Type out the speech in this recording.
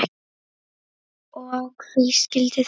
Og hví skildi það vera?